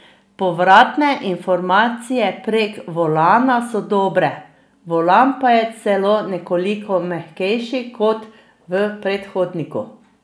Povratne informacije prek volana so dobre, volan pa je celo nekoliko mehkejši kot v predhodniku.